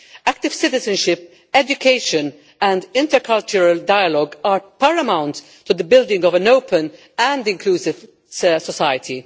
Active citizenship, education and intercultural dialogue are paramount to the building of an open and inclusive society.